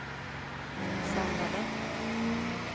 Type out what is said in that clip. samlade